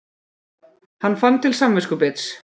Hann fann til samviskubits.